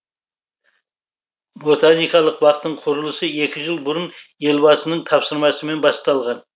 ботаникалық бақтың құрылысы екі жыл бұрын елбасының тапсырмасымен басталған